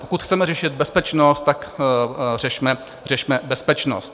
Pokud chceme řešit bezpečnost, tak řešme bezpečnost.